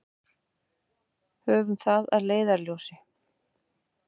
Höfum það að leiðarljósi.